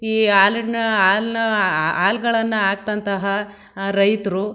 ಈ ಹಾಲಿ-ಹಾಲನ್ನ ಹಾಲ್ಗನ ಹಾಕ್ದಂತಹ ರೈತರು--